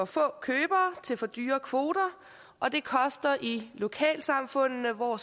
få købere til for dyre kvoter og det koster i lokalsamfundene hvor